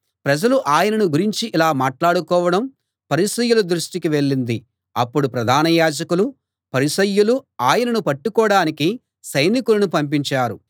ప్రజలు ఆయనను గురించి ఇలా మాట్లాడుకోవడం పరిసయ్యుల దృష్టికి వెళ్ళింది అప్పుడు ప్రధాన యాజకులూ పరిసయ్యులూ ఆయనను పట్టుకోడానికి సైనికులను పంపించారు